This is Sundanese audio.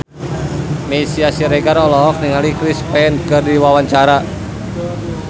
Meisya Siregar olohok ningali Chris Pane keur diwawancara